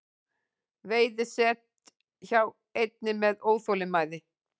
Veiði set hjá einni með óþolinmæði